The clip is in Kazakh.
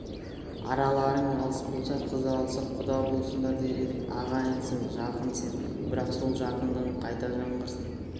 араларың алыс болса қыз алысып құда болысыңдар дер едік ағайынсың жақынсың бірақ сол жақындығың қайта жаңғырсын